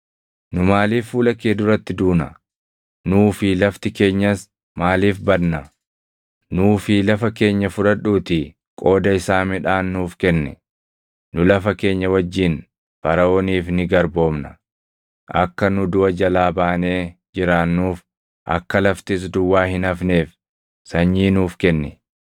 Nu maaliif fuula kee duratti duuna? Nuu fi lafti keenyas maaliif badna? Nuu fi lafa keenya fudhadhuutii qooda isaa midhaan nuuf kenni. Nu lafa keenya wajjin Faraʼooniif ni garboomna. Akka nu duʼa jalaa baanee jiraannuuf, akka laftis duwwaa hin hafneef sanyii nuuf kenni.”